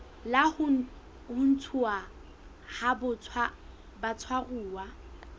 la ho ntshuwa ha batshwaruwa